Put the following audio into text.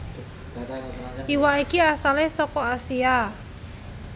Iwak iki asale saka Asia